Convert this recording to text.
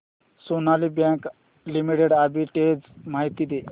Sonali Bank Limited arbitrage माहिती दे